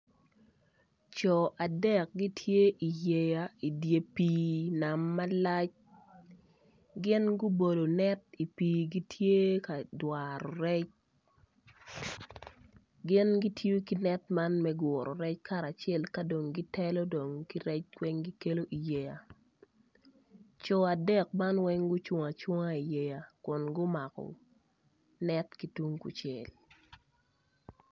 Co adek gitye iyeya idi pii nam malac gin gubolo net i pii gitye ka dwaro rec gin gitiyo ki net man me guro rec kacel ka dong ka dong gitelo dong ki rec weng gitero iyeya co adek man weng gucung iyeya kun gumako rec net ki tung kucel.